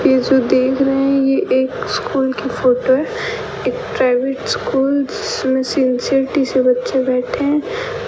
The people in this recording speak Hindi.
ये जो देख रहे हैं ये एक स्कूल की फोटो है एक प्राइवेट स्कूल जिसमें सिन्सेरिटी से बच्चे बैठे हैं।